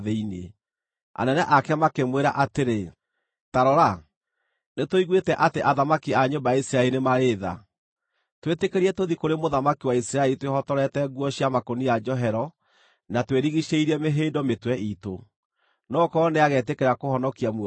Anene ake makĩmwĩra atĩrĩ, “Ta rora, nĩtũiguĩte atĩ athamaki a nyũmba ya Isiraeli nĩ marĩ tha. Twĩtĩkĩrie tũthiĩ kũrĩ mũthamaki wa Isiraeli twĩhotorete nguo cia makũnia njohero na twĩrigiicĩirie mĩhĩndo mĩtwe iitũ. No gũkorwo nĩagetĩkĩra kũhonokia muoyo waku.”